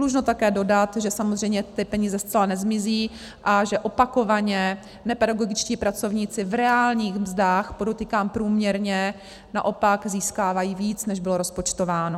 Dlužno také dodat, že samozřejmě ty peníze zcela nezmizí a že opakovaně nepedagogičtí pracovníci v reálných mzdách, podotýkám průměrně, naopak získávají víc, než bylo rozpočtováno.